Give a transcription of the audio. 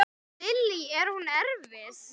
Lillý: Er hún erfið?